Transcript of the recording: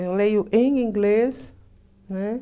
Eu leio em inglês, né?